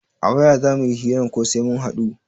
A waya za muyi hiran ko sai mun haɗu?